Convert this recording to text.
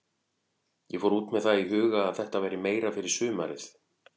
Ég fór út með það í huga að þetta væri meira fyrir sumarið.